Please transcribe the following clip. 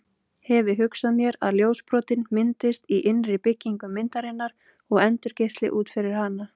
Hefi hugsað mér að ljósbrotin myndist í innri byggingu myndarinnar og endurgeisli út fyrir hana